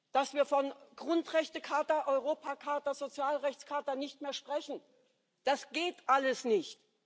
Dass wir von Grundrechtecharta, Europacharta, Sozialrechtscharta nicht mehr sprechen das geht alles nicht!